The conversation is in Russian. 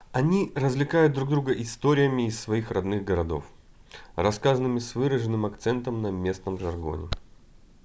они развлекают друг друга историями из своих родных городов рассказанными с выраженным акцентом на местном жаргоне